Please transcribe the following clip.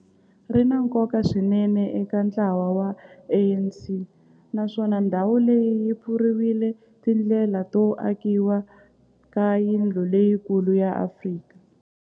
ri na nkoka swinene eka ntlawa wa ANC, naswona ndhawu leyi yi pfurile tindlela to akiwa ka yindlu leyikulu ya Afrika